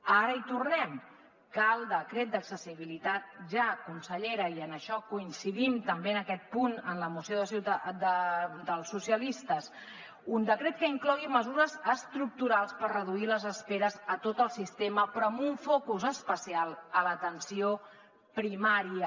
ara hi tornem cal decret d’accessibilitat ja consellera i en això coincidim també en aquest punt amb la moció dels socialistes un decret que inclogui mesures estructurals per reduir les esperes a tot el sistema però amb un focus especial a l’atenció primària